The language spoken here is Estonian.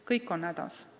Kõik on hädas.